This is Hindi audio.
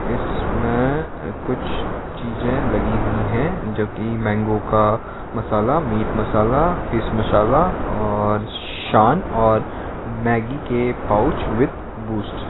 इसमें अं कुछ चीजे लगी हुई हैं जो की मैंगो का मसाला मीट मसाला फिश मसाला और शान और मैगी के पाउच विथ बूस्ट --